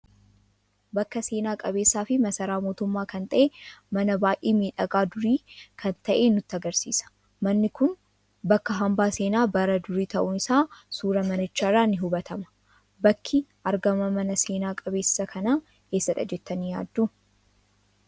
Bakka seena qabeessa fi masaraa mootumma kan ta'e mana baay'ee miidhaga durii kan ta'e nutti agarsiisa. Manni kun bakka hambaa seena bara duri ta'uun isaa suura manicha irra ni hubatama. Bakki argama mana seena qabeessa kana eesaadha jettani yaaddu?